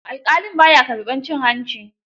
Alƙalin ba ya karɓar cin hanci